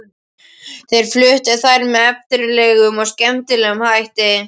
Þeir fluttu þær með eftirminnilegum og skemmtilegum hætti.